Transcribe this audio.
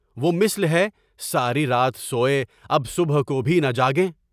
وہ مثل ہے، ساری رات سوئے، اب صبح کو بھی نہ جاگیں؟